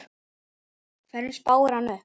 Hverjum spáir hann upp?